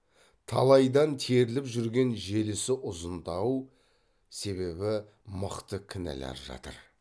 талайдан теріліп жүрген желісі ұзын дау себебі мықты кінәлар жатыр